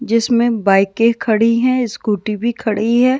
जिसमें बाइकें खड़ी हैं स्कूटी भी खड़ी है।